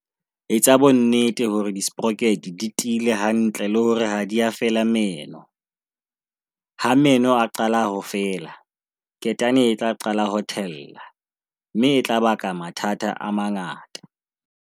Etsa bonnete hore di-sproket di tiile hantle le hore ha di a fela meno. Ha meno a qala ho fela, ketane e tla qala ho thella, mme e tla baka mathata a mangata.